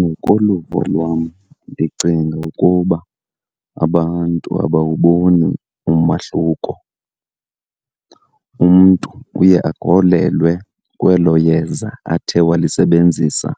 Ngokoluvo lwam, ndicinga ukuba abantu abawuboni umahluko. Umntu uye akholelwe kwelo yeza athe walisebenzisa